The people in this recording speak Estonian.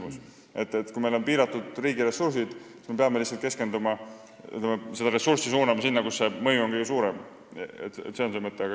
Kui meie riigil on piiratud ressursid, siis me peame neid ressursse suunama sinna, kus mõju on kõige suurem – see on see mõte.